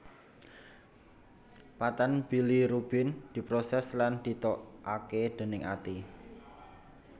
Padtan bilirubin diprosès lan ditokaké dèning ati